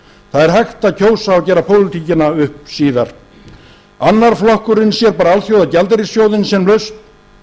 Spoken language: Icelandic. er hægt að kjósa og gera pólitíkina upp síðar annar flokkurinn sér bara alþjóðagjaldeyrissjóðinn sem lausn